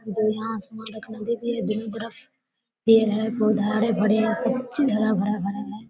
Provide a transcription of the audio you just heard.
जो यहां आसमान एक नदी भी है दोनों तरफ पेड़ है पौधा है हरे-भरे हैं हरा भरा-भरा